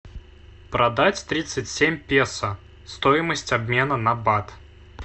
продать тридцать семь песо стоимость обмена на бат